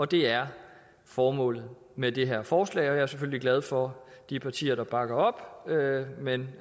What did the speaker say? det er formålet med det her forslag og jeg er selvfølgelig glad for de partier der bakker op men